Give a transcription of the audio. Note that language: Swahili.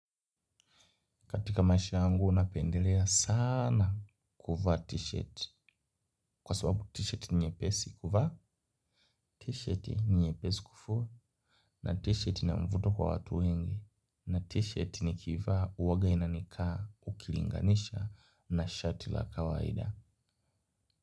Katika maisha yangu, napendelea saana kuvaa t-shirt. Kwa sababu t-shirt ni nyepesi kuvaa, t-shirt ni nyepesi kufua, na t-shirt ina mvuto kwa watu wengi, na t-shirt nikiivaa uaga inanikaa, ukilinganisha, na shati la kawaida.